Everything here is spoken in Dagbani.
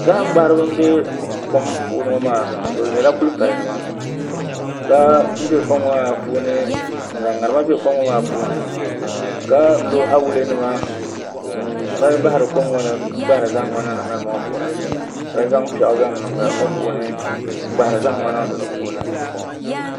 Zaham gbaharibi n bɛ kom ŋo maa puuni maa bi nyɛla kuli pali nima ka bɛ kom ŋo maa puuni n zaŋ ŋarima bɛ kom ŋo maa puuni ka lo awulɛ nima n mali bahari kom ŋo ni n gbahari zahama ŋo niŋdi ŋarim ŋo puuni ka zaŋ piɛɣu niŋ ŋarim ŋo puuni n gbahari zaham ŋo niŋdi di puuni